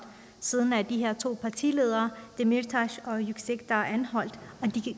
siden er de her to partiledere dmirtas og yüksekdag blevet anholdt og